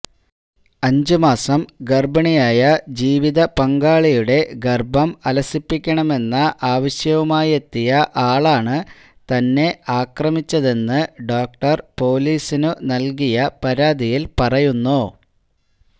അഞ്ചുമാസം ഗര്ഭിണിയായ ജീവിത പങ്കാളിയുടെ ഗര്ഭം അലസിപ്പിക്കണമെന്ന ആവശ്യവുമായെത്തിയ ആളാണ് തന്നെ ആക്രമിച്ചതെന്ന് ഡോക്ടര് പോലീസിനു നല്കിയ പരാതിയില് പറയുന്നു